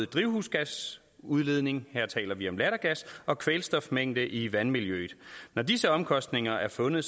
drivhusgasudledning her taler vi om lattergas og kvælstofmængde i vandmiljøet når disse omkostninger er fundet